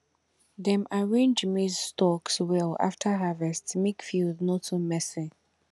dem arrange maize stalks well after harvest make field no too messy